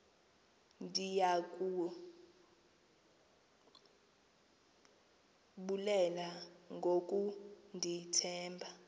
ndiya kubulela ngokundithemba